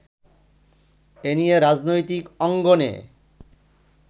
এ নিয়ে রাজনৈতিক অঙ্গনে